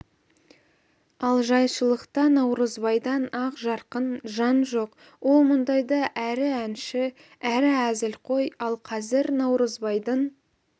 ал жайшылықта наурызбайдан ақ жарқын жан жоқ ол мұндайда әрі әнші әрі әзілқой ал қазір наурызбайдың